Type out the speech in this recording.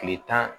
Tile tan